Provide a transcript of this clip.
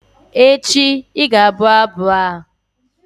echi, ị ga-abụ abụ a!